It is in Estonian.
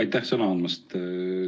Aitäh sõna andmast!